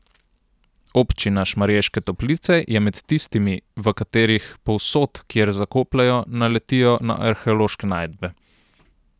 Občina Šmarješke Toplice je med tistimi, v katerih povsod, kjer zakopljejo, naletijo na arheološke najdbe.